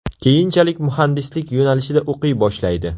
Keyinchalik muhandislik yo‘nalishida o‘qiy boshlaydi.